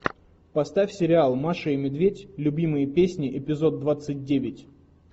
поставь сериал маша и медведь любимые песни эпизод двадцать девять